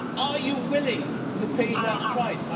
Are you willing to pay that price?